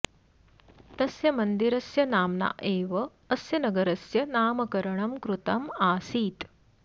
तस्य मन्दिरस्य नाम्ना एव अस्य नगरस्य नामकरणं कृतम् आसीत्